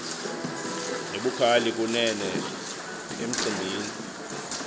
nebukhali kunene emicimbini